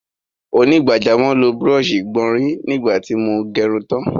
Onígbàjámọ̀ lo búrọ̀ṣì ìgbọ̀nrí nígbà tí mo gẹrun tán